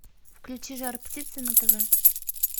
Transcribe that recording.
включи жар птица на тв